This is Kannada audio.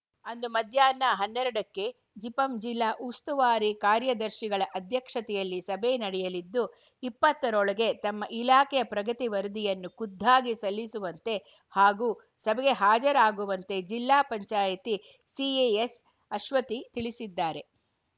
ಅಂದು ಮಧ್ಯಾಹ್ನ ಹನ್ನೆರಡ ಕ್ಕೆ ಜಿಪಂ ಜಿಲ್ಲಾ ಉಸ್ತುವಾರಿ ಕಾರ್ಯದರ್ಶಿಗಳ ಅಧ್ಯಕ್ಷತೆಯಲ್ಲಿ ಸಭೆ ನಡೆಯಲಿದ್ದು ಇಪ್ಪತ್ತರೊಳಗೆ ತಮ್ಮ ಇಲಾಖೆಯ ಪ್ರಗತಿ ವರದಿಯನ್ನು ಖುದ್ದಾಗಿ ಸಲ್ಲಿಸುವಂತೆ ಹಾಗೂ ಸಭೆಗೆ ಹಾಜರಾಗುವಂತೆ ಜಿಲ್ಲಾ ಪಂಚಾಯಿತಿ ಸಿ ಎ ಎ ಸ್‌ಅಶ್ವತಿ ತಿಳಿಸಿದ್ದಾರೆ